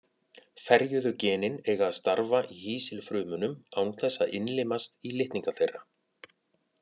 Ferjuðu genin eiga að starfa í hýsilfrumunum án þess að innlimast í litninga þeirra.